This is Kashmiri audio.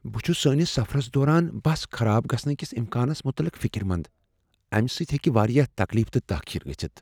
بہٕ چھس سٲنس سفرس دوران بس خراب گژھنہٕ کس امکانس متعلق فکر مند ، امہ سۭتۍ ہیٚکہ واریاہ تکلیف تہٕ تاخیر گژھتھ ۔